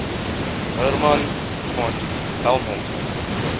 hermann von helmholtz